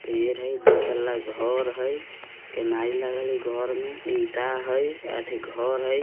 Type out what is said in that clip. पेड़ है | यहां दो मंजिला मकान है | कैमरा लगा है घर में | ईंट है | यह घर है--